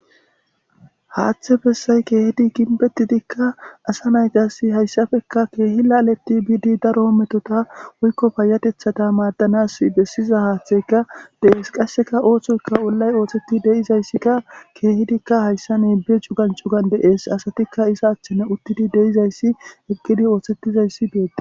Haaththe bessay keehidi ginbettidikka asa nayqasi hayssafekka keehi laaleti biidi daro metota woykko payatethata maaddanas bessiza haaththeyka de7es qasseka ooththoyka wollay ootheti deizayssikka keehidikka hayssa neebe cugan cugan dees asatikka isa achthene uttidi deizayssi eggidi ooththettizayssi beetta.